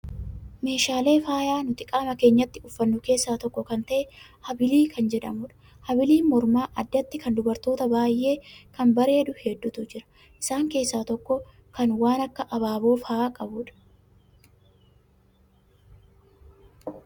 Meeshaalee faayaa nuti qaama keenyatti uffannu keessaa tokko kan ta'e habilii kan jedhamudha. Habiliin mormaa addatti kan dubarootaa baay'ee kan bareedu hedduutu jira. Isaan keessaa tokko kan waan akka abaaboo fa'aa qabudha.